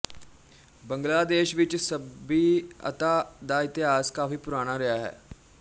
ਬੰਗਲਾਦੇਸ਼ ਵਿੱਚ ਸੱਭਿਅਤਾ ਦਾ ਇਤਿਹਾਸ ਕਾਫ਼ੀ ਪੁਰਾਣਾ ਰਿਹਾ ਹੈ